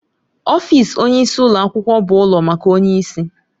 Ọfịs onyeisi ụlọ akwụkwọ bụ ụlọ maka onyeisi.